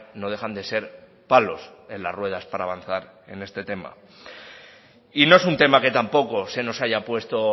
no dejan de ser palos en las ruedas para avanzar en este tema y no es un tema que tampoco se nos haya puesto